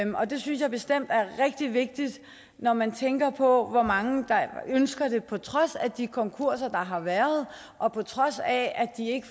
og det synes jeg bestemt er rigtig vigtigt når man tænker på hvor mange der ønsker det på trods af de konkurser der har været og på trods af at de ikke